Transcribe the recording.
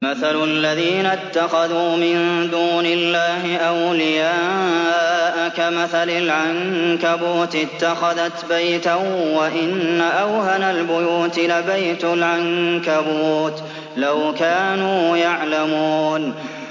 مَثَلُ الَّذِينَ اتَّخَذُوا مِن دُونِ اللَّهِ أَوْلِيَاءَ كَمَثَلِ الْعَنكَبُوتِ اتَّخَذَتْ بَيْتًا ۖ وَإِنَّ أَوْهَنَ الْبُيُوتِ لَبَيْتُ الْعَنكَبُوتِ ۖ لَوْ كَانُوا يَعْلَمُونَ